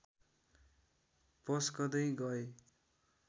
पस्कँदै गए